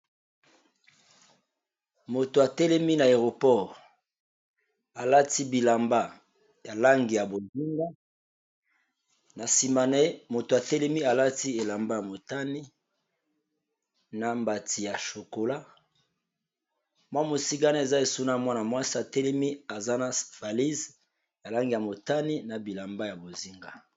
Elenge mobali atelemi liboso na aeroport. Alati bilamba ya Jeans ya langi ya bozinga na matalatala. Sima naye eza batu bazo kende.